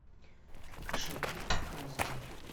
кошаки показывай